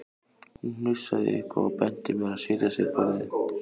Hún hnussaði eitthvað og benti mér að setjast við borðið.